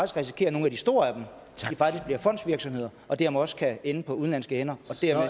risikere at nogle af de store af dem bliver fondsvirksomheder og dermed også kan ende på udenlandske hænder